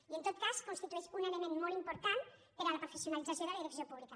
i en tot cas constitueix un element molt important per a la professionalització de la direcció pública